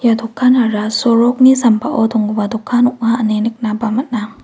dokanara sorokni sambao dongipa dokan ong·a ine nikna ba man·a.